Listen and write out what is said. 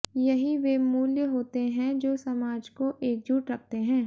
यही वे मूल्य होते हैं जो समाज को एकजुट रखते हैं